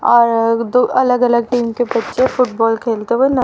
और एक दो अलग अलग टीम के बच्चे फुटबॉल खेलते हुए न--